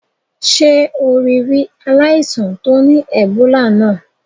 Sé o rí ri aláìsàn to ni Ebola náà?